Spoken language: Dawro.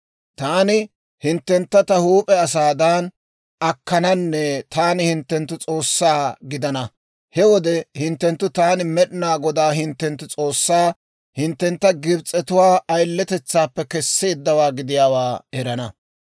Taani hinttentta ta huup'e asaadan akkananne taani hinttenttu S'oossaa gidana. He wode hinttenttu Taani Med'inaa Godaa hinttenttu S'oossaa hinttentta Gibs'etuwaa ayiletetsaappe kesseeddawaa gidiyaawaa erana.